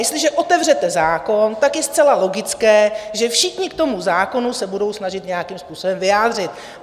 Jestliže otevřete zákon, tak je zcela logické, že všichni k tomu zákonu se budou snažit nějakým způsobem vyjádřit.